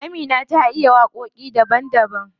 Amina ta iya waƙoƙi daban daban.